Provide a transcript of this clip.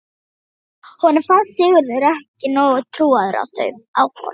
Honum fannst Sigurður ekki nógu trúaður á þau áform.